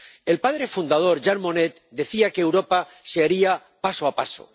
El padre fundador, Jean Monnet, decía que Europa se haría paso a paso.